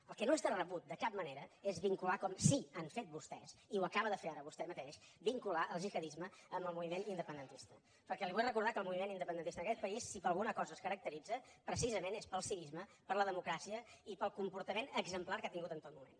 el que no és de rebut de cap manera és vincular com sí que han fet vostès i ho acaba de fer ara vostè mateix el gihadisme amb el moviment independentista perquè li vull recordar que el moviment independentista en aquest país si per alguna cosa es caracteritza precisament és pel civisme per la democràcia i pel comportament exemplar que ha tingut en tot moment